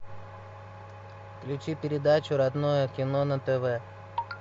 включи передачу родное кино на тв